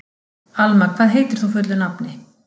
Alma, hvað heitir þú fullu nafni?